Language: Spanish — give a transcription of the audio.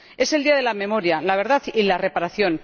Es el día de la memoria, la verdad y la reparación.